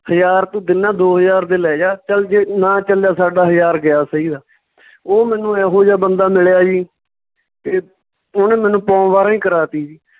ਹਜਾਰ ਤੂੰ ਗੰਨਾ ਦੋ ਹਜਾਰ ਦਾ ਲੈਜਾ ਚੱਲ ਜੇ ਨਾ ਚੱਲਿਆ ਸਾਡਾ ਹਜਾਰ ਗਿਆ ਉਹ ਮੈਨੂੰ ਇਹੋ ਜਿਹਾ ਬੰਦਾ ਮਿਲਿਆ ਸੀ ਤੇ ਉਹਨੇ ਮੈਨੂੰ ਪੌਂ ਬਾਰਾਂ ਹੀ ਕਰਾਤੀ ਜੀ